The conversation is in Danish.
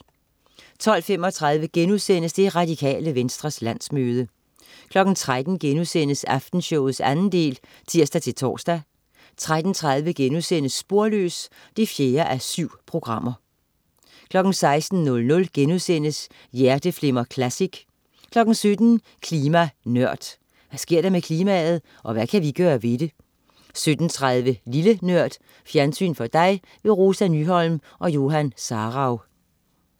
12.35 Det Radikale Venstres landsmøde* 13.00 Aftenshowet 2. del* (tirs-tors) 13.30 Sporløs 4:7* 16.00 Hjerteflimmer Classic* 17.00 Klima Nørd. Hvad sker der med klimaet? Og hvad kan vi gøre ved det? 17.30 Lille Nørd. Fjernsyn for dig. Rosa Nyholm og Johan Sarauw